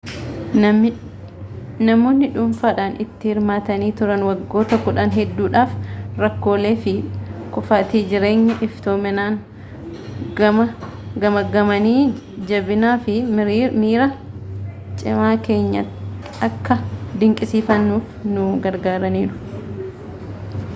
namoonni dhuunfaadhaan itti hirmaatanii turan waggoota kudhan hedduudhaaf rakkoolee fi kuufaatii keenya iftoominaan gamaaggamanii jabinaa fi miira cimaa keenya akka dinqisiifannuuf nu gargaarananiiru